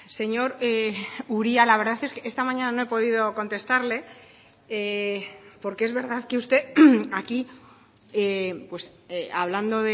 señor uria la verdad es que esta mañana no he podido contestarle porque es verdad que usted aquí hablando